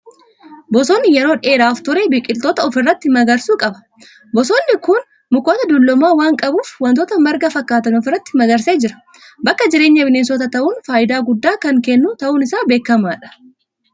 Bosonni yeroo dheeraaf ture, biqiltoota ofirratti magarsu qaba. Bosonni kun mukoota dulloomaa waan qabuuf, waantota marga fakkaatan ofirratti magarsee jira. Bakka jireenya bineensotaa ta'uun faayidaa guddaa kan kennu ta'uun isaa beekamaadha.